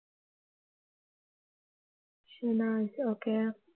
okay